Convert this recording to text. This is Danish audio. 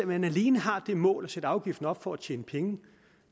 man alene har det mål at sætte afgiften op for at tjene penge